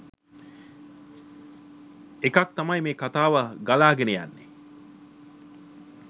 එකක් තමයි මෙම කථාව ගලාගෙන යන්නෙ